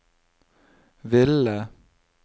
ville